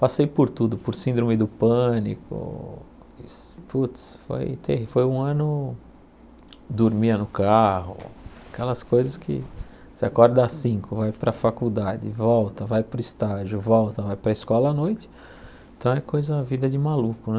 Passei por tudo, por síndrome do pânico, putz foi terrí foi um ano dormia no carro, aquelas coisas que você acorda às cinco, vai para a faculdade, volta, vai para o estágio, volta, vai para a escola à noite, então é coisa, vida de maluco, né.